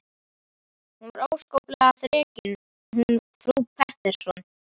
Hún var óskaplega þrekin hún frú Pettersson.